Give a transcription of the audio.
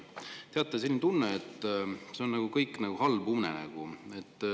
Teate, selline tunne on, et see kõik on nagu halb unenägu.